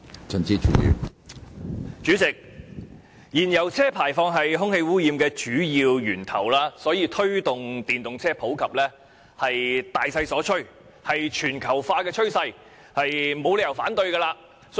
主席，燃油車排放是空氣污染的主要源頭，所以推動電動車普及是大勢所趨，是全球化趨勢，我們沒有理由反對。